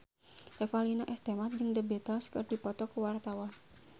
Revalina S. Temat jeung The Beatles keur dipoto ku wartawan